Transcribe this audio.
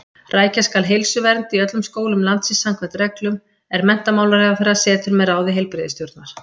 Rækja skal heilsuvernd í öllum skólum landsins samkvæmt reglum, er menntamálaráðherra setur með ráði heilbrigðisstjórnar.